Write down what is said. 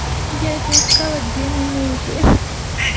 я это искала две минуты ха-ха-ха